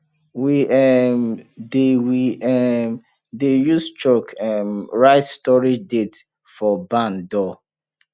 we um dey we um dey use chalk um write storage date for barn door